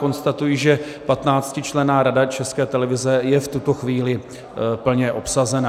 Konstatuji, že 15členná Rada České televize je v tuto chvíli plně obsazena.